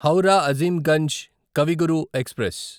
Howrah Azimganj Kavi Guru express